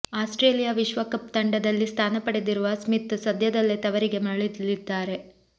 Australia ವಿಶ್ವಕಪ್ ತಂಡದಲ್ಲಿ ಸ್ಥಾನ ಪಡೆದಿರುವ ಸ್ಮಿತ್ ಸದ್ಯದಲ್ಲೇ ತವರಿಗೆ ಮರಳಲಿದ್ದಾರೆ